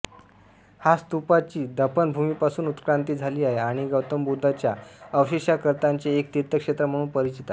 हा स्तूपाची दफनभूमीपासून उत्क्रांती झाली आहे आणि गौतम बुद्धांच्या अवशेषांकरिताचे एक तीर्थक्षेत्र म्हणून परिचित आहे